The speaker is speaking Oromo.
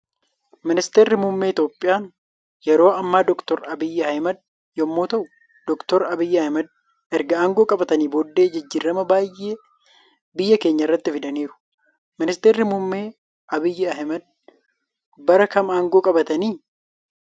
Ministeerri muummee iitoophiyaan yeroo Amma doktar abiy ahimad yommuu ta'u dooktari abiy ahimed erga aangoo qabatanii booddee jijjiirama baay'ee biyya keenya irratti fidaniiru. Ministeerri muummee abiy ahimed bara kam aangoo qabatanii?